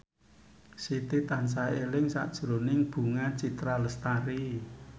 Siti tansah eling sakjroning Bunga Citra Lestari